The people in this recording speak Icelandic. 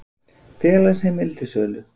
Félagsheimili til sölu